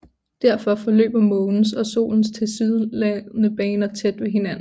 Derfor forløber Månens og Solens tilsyneladende baner tæt ved hinanden